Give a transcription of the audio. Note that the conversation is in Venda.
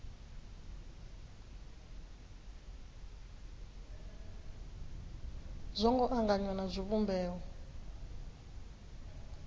zwo ngo anganywa na zwivhumbeo